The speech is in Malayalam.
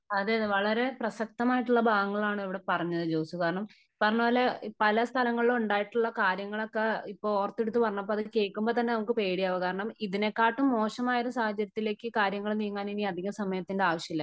അതേ അതേ വളരെ പ്രസക്തമായിട്ടുള്ള ഭാഗമാണ് ഇവിടെ പറഞ്ഞത് ജോസ് . ഈ പറഞ്ഞ പോലെ പല സ്ഥലങ്ങളിലും ഉണ്ടായിട്ടുള്ള കാര്യങ്ങളൊക്കെ ഇപ്പോ ഓർത്തെടുത്ത് പറഞ്ഞപ്പോ അത് കേൾക്കുമ്പോ തന്നെ നമുക്ക് പേടിയാകും കാരണം ഇതിനെക്കാട്ടും മോശമായ ഒരു സാഹചര്യത്തിലേക്ക് കാര്യങ്ങൾ നീങ്ങാൻ ഇനി അതിക സമയത്തിന്റെ ആവശ്യമില്ല .